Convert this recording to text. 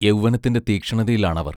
യൗവനത്തിന്റെ തീക്ഷ്ണതയിലാണവർ.